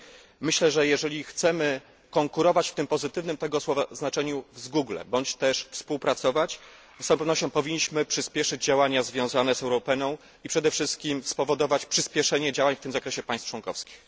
I myślę, że jeśli chcemy konkurować w tym pozytywnym tego słowa znaczeniu z Google, bądź też współpracować, z całą pewnością powinniśmy przyspieszyć działania związane z Europeaną i przede wszystkim spowodować przyspieszenie działań w tym zakresie państw członkowskich.